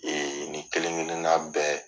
nin kelen kelenan bɛɛ.